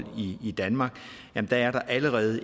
i danmark er der allerede